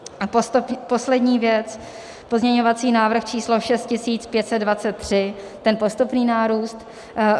A poslední věc, pozměňovací návrh číslo 6523, ten postupný nárůst.